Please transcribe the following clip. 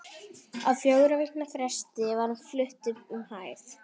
Á fjögurra vikna fresti var hún flutt upp um hæð.